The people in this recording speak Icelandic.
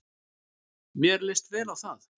Mér leist vel á það.